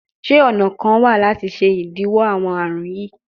Ṣe ọna kan wa lati ṣe idiwọ awọn arun yii?